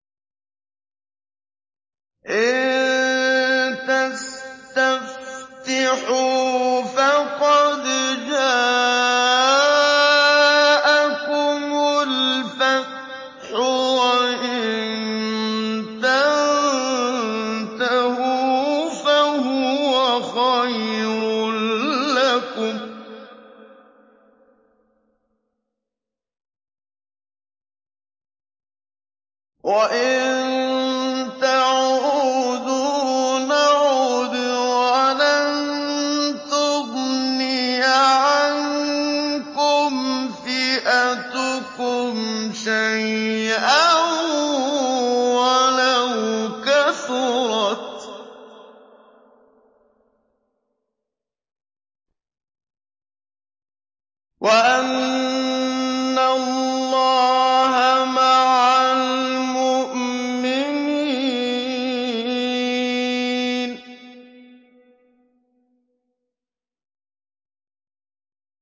إِن تَسْتَفْتِحُوا فَقَدْ جَاءَكُمُ الْفَتْحُ ۖ وَإِن تَنتَهُوا فَهُوَ خَيْرٌ لَّكُمْ ۖ وَإِن تَعُودُوا نَعُدْ وَلَن تُغْنِيَ عَنكُمْ فِئَتُكُمْ شَيْئًا وَلَوْ كَثُرَتْ وَأَنَّ اللَّهَ مَعَ الْمُؤْمِنِينَ